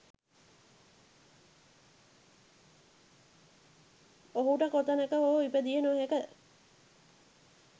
ඔහුට කොතනක හෝ ඉපදිය නොහැක.